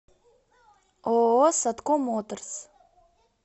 ооо садко моторс